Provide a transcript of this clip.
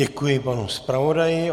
Děkuji panu zpravodaji.